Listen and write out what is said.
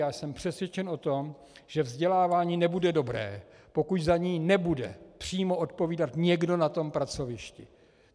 Já jsem přesvědčen o tom, že vzdělávání nebude dobré, pokud za něj nebude přímo odpovídat někdo na tom pracovišti.